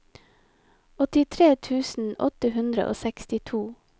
åttitre tusen åtte hundre og sekstito